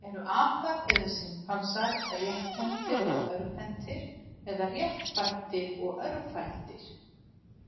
Eru apar, eða simpansar, rétthentir og örvhentir, eða réttfættir og örvfættir?